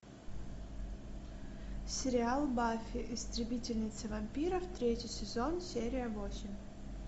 сериал баффи истребительница вампиров третий сезон серия восемь